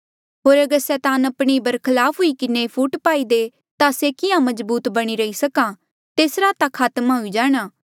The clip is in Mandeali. होर अगर सैतान आपणे ही बरखलाफ हुई किन्हें फूट पाई दे ता से किहाँ मजबूत बणी रही सक्हा तेसरा ता खात्मा हुई जाणा